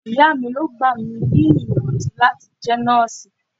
Ìyá mi ló gbà mí níyànjú láti jẹ́ nọ́ọ̀sì.